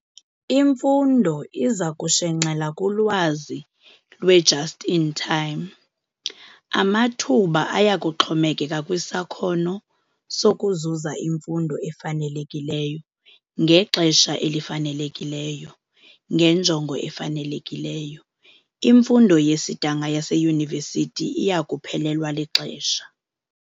Imfundo iza kushenxela kulwazi lwe 'just-in-time'. Amathuba aya kuxhomekeka kwisakhono sokuzuza imfundo efanelekileyo ngexesha elifanelekileyo ngenjongo efanelekileyo. Imfundo yesidanga yaseyunivesithi iya kuphelelwa lixesha.